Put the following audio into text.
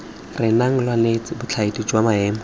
renang lwabobedi botlhokwa jwa maemo